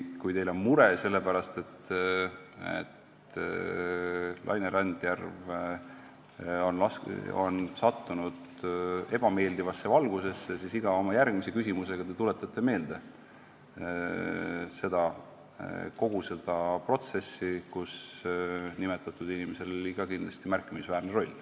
Kui teil on mure sellepärast, et Laine Randjärv on sattunud ebameeldivasse valgusesse, siis iga oma järgmise küsimusega te tuletate meelde kogu seda protsessi, kus nimetatud inimesel oli ka kindlasti märkimisväärne roll.